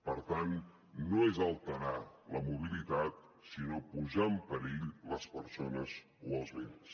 per tant no és alterar la mobilitat sinó posar en perill les persones o els béns